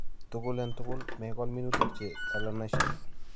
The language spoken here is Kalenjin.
tugul eng' tugul megol minutik che solanaceious